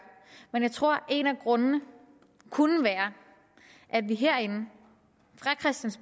jeg tror at en af grundene kunne være at vi herinde